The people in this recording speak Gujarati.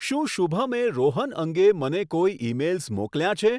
શું શુભમે રોહન અંગે મને કોઈ ઇમેઇલ્સ મોકલ્યાં છે